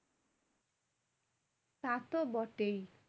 তা তো বটেই।